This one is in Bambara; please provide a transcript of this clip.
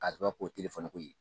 ko ye